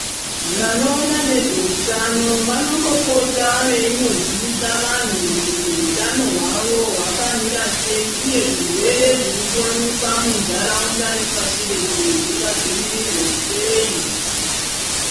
Vanoona nezveutano vanombopota veimbozivisa vanhu kuti hwutano hwavo hwaka mira sei uye zvirwere zvirikuwanika mundaraunda nepashi reshe zvinga zvivirirwa sei.